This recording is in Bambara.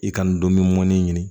I ka n dɔnkili mɔnni ɲini